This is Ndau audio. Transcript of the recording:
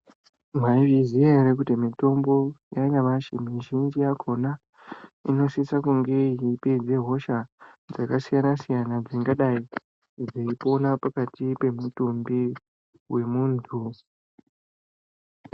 Mwaizviziya ere kuti mitombo yanyamashi mizhinji yakhona inosise kunge yeipedza hosha dzakasiyana-siyana dzingadai dzeipona pakati pemutumbi wemuntu?.